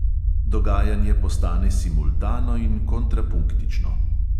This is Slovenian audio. Dogajanje postane simultano in kontrapunktično.